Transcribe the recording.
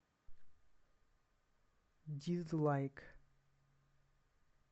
дизлайк